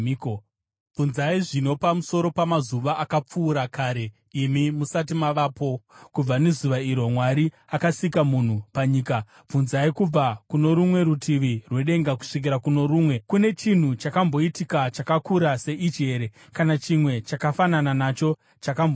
Bvunzai zvino pamusoro pamazuva akapfuura kare imi musati mavapo, kubva nezuva iro Mwari akasika munhu panyika; bvunzai kubva kuno rumwe rutivi rwedenga kusvikira kuno rumwe. Kune chinhu chakamboitika chakakura seichi here, kana chimwe chakafanana nacho chakambonzwika?